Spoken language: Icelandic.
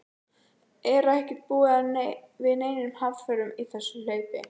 Er ekki búist við neinum hamförum í þessu hlaupi?